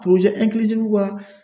ka